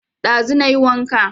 Ɗazu na yi wanka